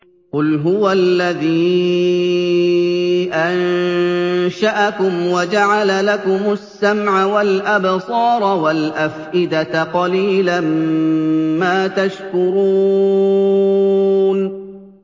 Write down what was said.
قُلْ هُوَ الَّذِي أَنشَأَكُمْ وَجَعَلَ لَكُمُ السَّمْعَ وَالْأَبْصَارَ وَالْأَفْئِدَةَ ۖ قَلِيلًا مَّا تَشْكُرُونَ